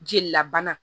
Jeli labana